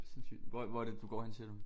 Sindssygt hvor hvor er det du går hende siger du?